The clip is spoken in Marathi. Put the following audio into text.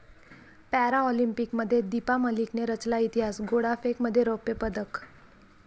पॅराऑलिम्पिकमध्ये दीपा मलिकने रचला इतिहास, गोळाफेकमध्ये रौप्य पदक